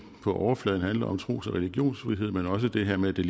på overfladen handler om nemlig tros og religionsfrihed men også det her med det